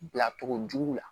Bilacogo jugu la